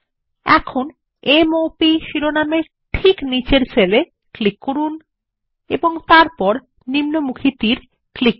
এখন M O Pশিরোনাম এর ঠিক নিচের সেল এ ক্লিক করুন এবং তারপর নিম্নমুখী তীর ক্লিক করুন